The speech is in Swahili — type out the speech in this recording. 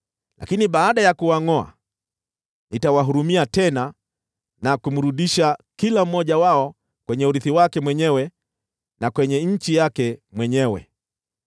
Lakini baada ya kuwangʼoa, nitawahurumia tena na kumrudisha kila mmoja wao kwenye urithi wake mwenyewe na kwenye nchi yake mwenyewe.